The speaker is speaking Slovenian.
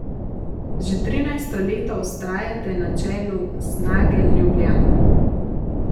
Že trinajsto leto vztrajate na čelu Snage Ljubljana.